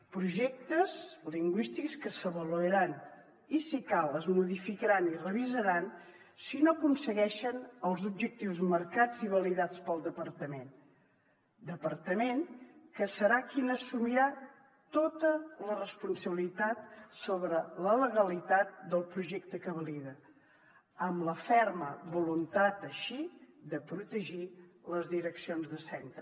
projectes lingüístics que s’avaluaran i si cal es modificaran i revisaran si no aconsegueixen els objectius marcats i validats pel departament departament que serà qui assumirà tota la responsabilitat sobre la legalitat del projecte que valida amb la ferma voluntat així de protegir les direccions de centre